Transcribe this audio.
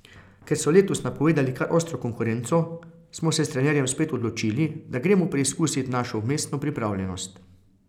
Ker so letos napovedali kar ostro konkurenco, smo se s trenerjem spet odločili, da gremo preizkusit našo vmesno pripravljenost.